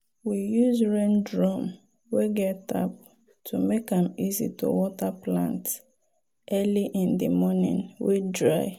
we use rain drum wey get tap to make am easy to water plant early in di morning wey dry.